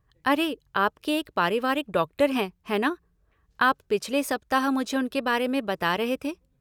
अरे, आपके एक पारिवारिक डॉक्टर हैं, है ना? आप पिछले सप्ताह मुझे उनके बारे में बता रहे थे।